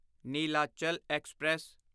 Nilachal express